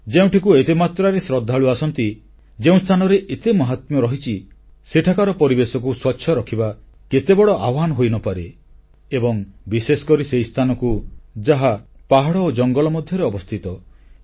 ଯେଉଁଠିକୁ ଏତେ ମାତ୍ରାରେ ଶ୍ରଦ୍ଧାଳୁ ଯାଆନ୍ତି ଯେଉଁସ୍ଥାନର ଏତେ ମହାତ୍ମ୍ୟ ରହିଛି ସେଠାକାର ପରିବେଶକୁ ସ୍ୱଚ୍ଛ ରଖିବା କେତେ ବଡ଼ ଆହ୍ୱାନ ହୋଇନପାରେ ଏବଂ ବିଶେଷକରି ସେହି ସ୍ଥାନକୁ ଯାହା ପାହାଡ଼ ଓ ଜଙ୍ଗଲ ମଧ୍ୟରେ ଅବସ୍ଥିତ